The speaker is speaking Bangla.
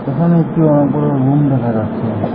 এখানে একটি অনেক বড় রুম দেখা যাচ্ছে।